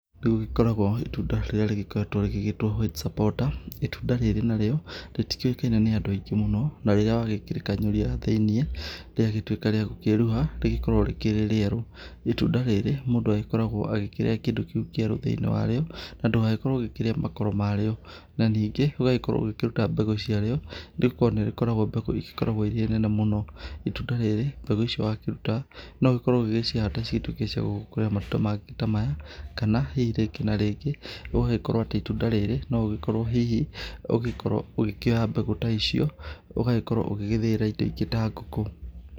Nĩ gũgĩkoragwo itunda rĩrĩa rĩgĩkoretwo rĩgĩtwo White Supporter, itunda rĩrĩ narĩo, rĩtikĩũĩkaine nĩ andũ aingĩ mũno na rĩrĩ wakĩrĩkanyũria thĩinĩ rĩagĩtuĩka rĩagũkĩruha rĩkoragwo rĩrĩ rĩerũ. Itunda rĩri mũndũ agĩkoragwo akĩrĩa kĩndũ kĩu kĩerũ thĩinĩ wa rĩo, na ndũgagĩkorwo ũkĩrĩa makoro marĩo. Na ningĩ ũgagĩkorwo ũgĩkĩruta mbegũ ciarĩo nĩ gũkorwo nĩ rĩkoragwo mbegũ igĩkoragwo irĩ nene mũno. Itunda rĩrĩ mbegũ icio wakĩruta, no ũgĩkorwo ũgĩgĩcihanda cituĩke ciagũgĩkũra matunda mangĩ ta maya. Kana hihi rĩngĩ na rĩngĩ gũgagĩkorwo atĩ itunda rĩrĩ no ũgĩkorwo atĩ hihi ũgĩkorwo ũgĩkĩoya mbegũ ta icio ũgagĩkorwo ũgĩgĩthĩĩra indo ingĩ ta ngũkũ.